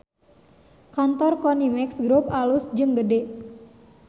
Kantor Konimex Grup alus jeung gede